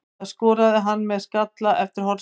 Það skoraði hann með skalla eftir hornspyrnu.